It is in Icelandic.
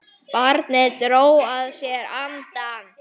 Barnið dró að sér andann.